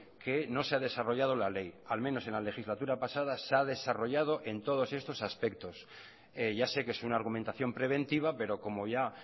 que no se ha desarrollado la ley al menos en la legislatura pasada se ha desarrollado en todos estos aspectos ya sé que es una argumentación preventiva pero como ya